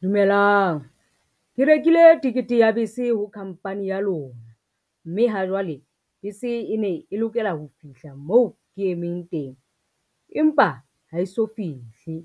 Dumelang, ke rekile tekete ya bese ho company ya lona, mme ha jwale bese e ne e lokela ho fihla moo ke emeng teng, empa ha eso fihle.